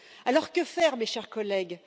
Alors que faire, mes chers collègues?